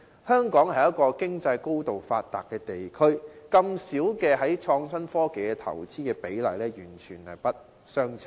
香港是一個經濟高度發達的地區，在創新科技方面的投資比例這麼低，兩者完全不相稱。